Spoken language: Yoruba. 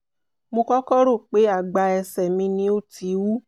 mo kọ́kọ́ rò pé àgbá ẹsẹ̀ mi ni ó ti wú